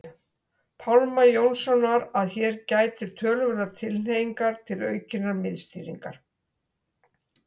Pálma Jónssonar að hér gætir töluverðrar tilhneigingar til aukinnar miðstýringar.